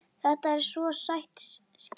Þetta er svo sæt skyrta.